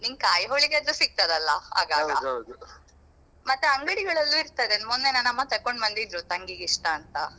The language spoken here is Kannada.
ನಿಂಗ್ kai holige ಯಾದ್ರು ಸಿಕ್ತದಲ್ಲಾ ಆಗಾಗ ಮತ್ತೆ ಅಂಗಡಿಗಳಲ್ಲೂ ಇರ್ತದೆ ಮೊನ್ನೆ ನನ್ನ ಅಮ್ಮ ತೆಕೊಂಡು ಬಂದಿದ್ರು ತಂಗಿಗೆ ಇಷ್ಟ ಅಂತ.